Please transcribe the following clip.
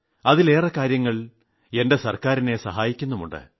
ഇവയിലെ ഒട്ടേറെ നിർദ്ദേശങ്ങൾ എന്റെ ഗവൺമെന്റിന്റെ പ്രവർത്തനങ്ങളെ സഹായിക്കുന്നുമുണ്ട്